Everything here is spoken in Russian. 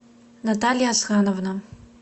наталья асхановна